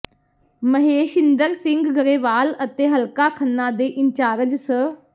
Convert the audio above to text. ਮਹੇਸ਼ਇੰਦਰ ਸਿੰਘ ਗਰੇਵਾਲ ਅਤੇ ਹਲਕਾ ਖੰਨਾ ਦੇ ਇੰਚਾਰਜ ਸ